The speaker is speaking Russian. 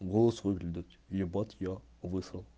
голос выглядит ебать я высрал